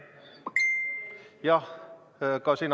Kas te kuulete mind?